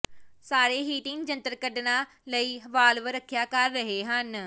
ਸਾਰੇ ਹੀਟਿੰਗ ਜੰਤਰ ਕੱਢਣਾ ਲਈ ਵਾਲਵ ਰੱਖਿਆ ਕਰ ਰਹੇ ਹਨ